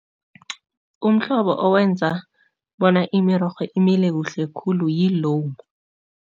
Umhlobo owenza bona imirorho imile kuhle khulu yi-loam.